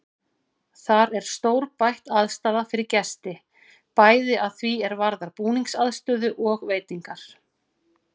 Þar er stórbætt aðstaða fyrir gesti, bæði að því er varðar búningsaðstöðu og veitingar.